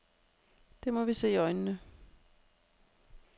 Det må vi se i øjnene.